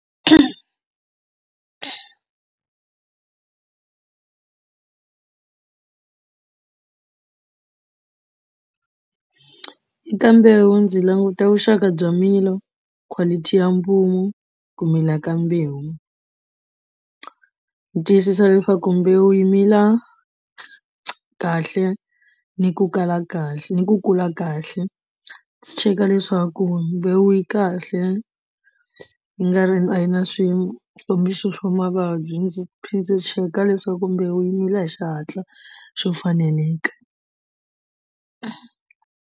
Ka mbewu ndzi languta vuxaka byo quality ya ku mila ka mbewu. Ni tiyisisa leswaku mbewu yi mila kahle ni ku kala kahle ni ku kula kahle ni cheka leswaku mbewu yi kahle ina yi nga ri na a yi na swikombiso swo mavabyi ndzi ndzi cheka leswaku mbewu u yi mila hi xihatla xo faneleka.